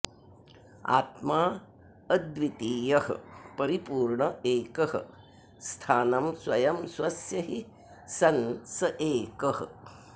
आत्माऽद्वितीयः परिपूर्ण एकः स्थानं स्वयं स्वस्य हि सन् स एकः